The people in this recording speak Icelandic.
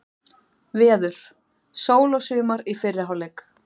Veður: Sól og sumar í fyrri hálfleik.